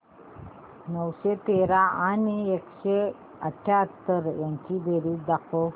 नऊशे तेरा आणि एकशे अठयाहत्तर यांची बेरीज दाखव